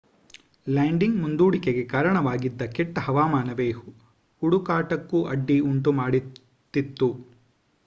landing ಮುಂದೂಡಿಕೆಗೆ ಕಾರಣವಾಗಿದ್ದ ಕೆಟ್ಟ ಹವಾಮಾನವೇ ಹುಡುಕಾಟಕ್ಕೂ ಅಡ್ಡಿ ಉಂಟು ಮಾಡುತ್ತಿತ್ತು